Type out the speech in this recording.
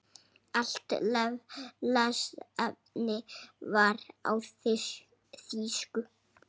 Allt lesefni var á þýsku.